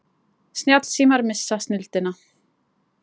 Snjallsímar missa snilldina